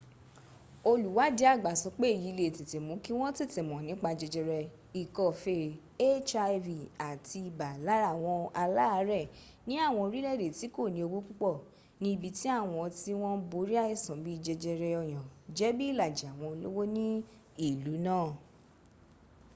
olùwádìí àgbà sọ pé èyí le è tètè mú kí wọn tètè mọ nípa jẹjẹrẹ ikọ́ fee hiv àti ibà lára àwọn aláàrẹ̀ ni àwọn orílẹ̀ èdè tí kòní owó púpọ̀ ní ibi tí àwọn tí wọ́n ń borí àìsàn bíì jẹjẹrẹ ọyàn jẹ bí ìlàjì àwọn olówó ní ìlú náà